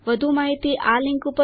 વધુ માહિતી આના ઉપર ઉપલબ્ધ છે